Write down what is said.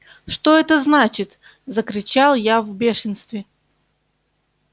что это значит закричал я в бешенстве